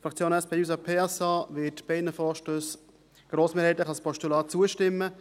Die Fraktion SP-JUSO-PSA wird beiden Vorstössen grossmehrheitlich als Postulat zustimmen.